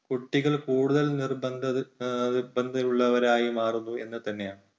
കുട്ടികൾ കൂടുതൽ നിർബന്ധ നിർബന്ധഉള്ളവരായി മാറുന്നു എന്നു തന്നെയാണ്.